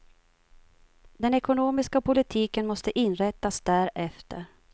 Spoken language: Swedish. Den ekonomiska politiken måste inrättas därefter.